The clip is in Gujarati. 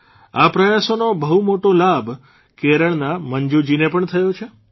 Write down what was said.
આ પ્રયાસોનો બહુ મોટો લાભ કેરળના મંજૂજીને પણ થયો છે